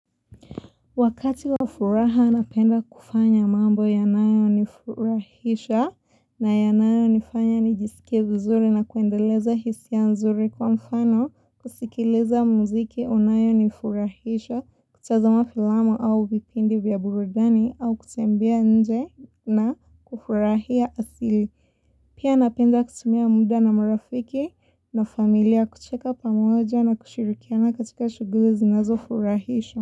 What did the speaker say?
Wakati wafuraha napenda kufanya mambo yanayo nifurahisha na yanayo nifanya nijisikie vizuri na kuendeleza hisi ya nzuri kwa mfano kusikileza muziki yanayo nifurahisha kutazama filamu au vipindi vya burudani au kutembea nje na kufurahia asili. Pia napenda kutumia muda na marafiki na familia kucheka pamoja na kushirikiana katika shughuli zinazo furahisha.